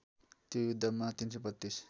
त्यो युद्धमा ३३२